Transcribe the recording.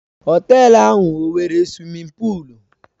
Họtelu ahụ ọ nwere suwimin pụụlu?